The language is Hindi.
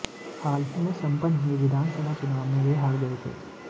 हाल ही में संपन्न हुए विधानसभा चुनाव में वे हार गए थे